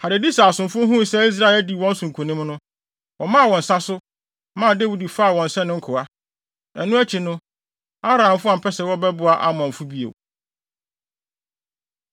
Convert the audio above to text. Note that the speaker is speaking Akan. Hadadeser asomfo huu sɛ Israel adi wɔn so nkonim no, wɔmaa wɔn nsa so, maa Dawid faa wɔn sɛ ne nkoa. Ɛno akyi no, Aramfo ampɛ sɛ wɔbɛboa Amonfo bio.